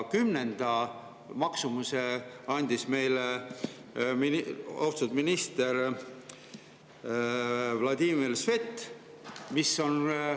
Kümnenda maksumuse andis meile austatud minister Vladimir Svet, kümnenda numbri.